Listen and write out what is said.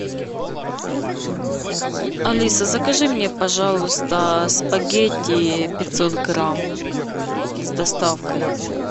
алиса закажи мне пожалуйста спагетти пятьсот грамм с доставкой